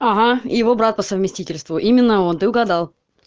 ага его брат по совместительству именно он ты угадал